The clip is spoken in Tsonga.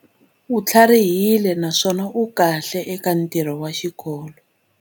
U tlharihile naswona u kahle eka ntirho wa xikolo.